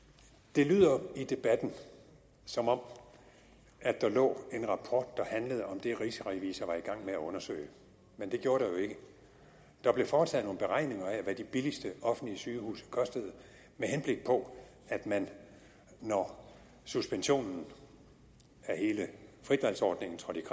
det lyder i debatten som om der lå en rapport der handlede om det rigsrevisor var i gang med at undersøge men det gjorde der jo ikke der blev foretaget nogle beregninger af hvad de billigste offentlige sygehuse kostede med henblik på at man når suspensionen af hele frit valg ordningen trådte i